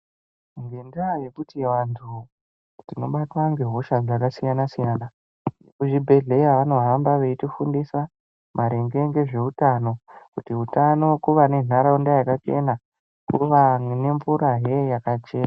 Ngendaa yekuti vantu tinobatwa ngehosha dzakasiyana-siyana, vekuzvibhedhleya vanohamba veitifundisa maringe ngezveutano. Kuti hutano kuva nentaraunda yakachena kuva nemvurahe yakachena.